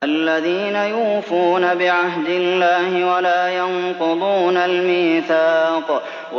الَّذِينَ يُوفُونَ بِعَهْدِ اللَّهِ وَلَا يَنقُضُونَ الْمِيثَاقَ